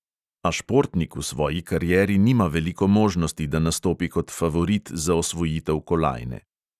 A športnik v svoji karieri nima veliko možnosti, da nastopi kot favorit za osvojitev kolajne.